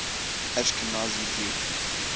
ashkenazi jews